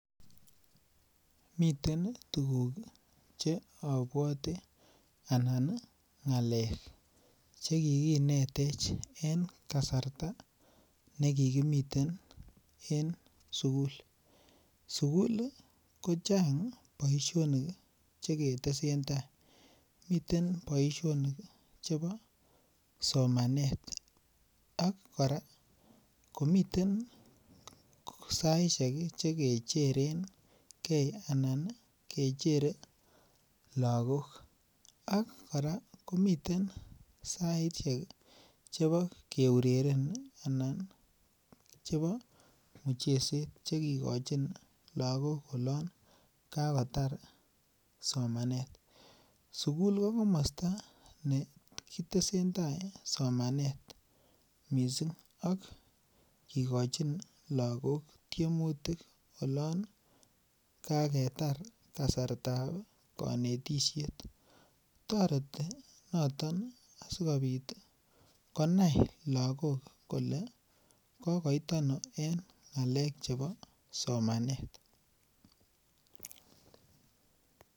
Miten tuguk Che abwate anan ngalek Che kikinetech en kasarta nekikimiten en sukul sukul kochang boisionik Che ketesentai miten boisionik chebo somanet ako kora komiten saisiek Che kecherengei Anan kecherei lagok ak kora komiten saisiek Che bo keureren anan mucheset Che kigochin lagok olon kakotar somanet sukul ko komosta ne ki tesentai somanet mising ak kigochin lagok tiemutik oloon kaketar kasartab konetisiet toreti noton asikobit konai lagok kole kokokoit ano en ngalek Che chebo somanet